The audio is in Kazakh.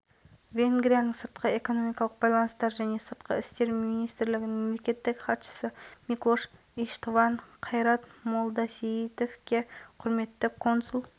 алдағы уақытта екі мемлекет арасындағы стратегиялық әріптестікті нығайтып тауар айналымы ұлғайып инвестиция тартуға да септігін